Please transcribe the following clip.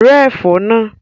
Rẹ́ ẹ̀fọ́ náà!